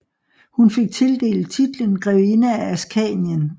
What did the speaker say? Hun fik tildelt titlen Grevinde af Askanien